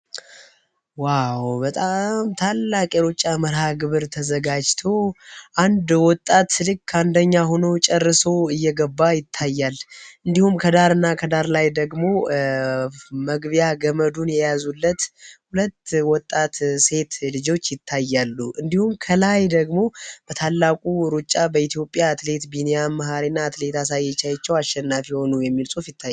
ዋው! በጣም ታላቅ የሩጫ መርሀግብር ተዘጋጅቶ 1 ወጣት ልክ አንደኛ ሆኖ ጨርሶ እየገባ ይታያል እንዲሁም ከዳርና ከዳር ላይ ደግሞ መግቢያ ገመዱን የያዙለት ሁለት ወጣት ሴት ልጆች ይታያሉ። እንዲሁም ከላይ ደግሞ የታላቁ ሩጫ በኢትዮጵያ አትሌት ማህሌ ት አትሌት ቢኒያም መሐሪ እና ሊናቸው አሸናፊ ሆኑ የሚል ይታያል።